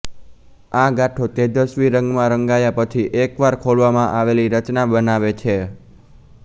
આ ગાંઠો તેજસ્વી રંગમાં રંગ્યા પછી એકવાર ખોલવામાં આવેલી રચના બનાવે છે